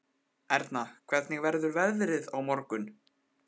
Erna, hvernig verður veðrið á morgun?